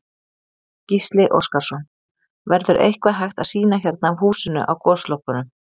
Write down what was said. Gísli Óskarsson: Verður eitthvað hægt að sýna hérna af húsinu á Goslokunum?